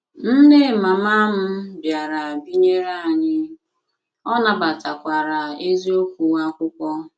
Nne mama m bịara binyere anyị, ọ nabatakwara eziokwu akwụkwo